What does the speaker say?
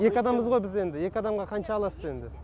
екі адамбыз ғой біз енді екі адамға қанша аласыз енді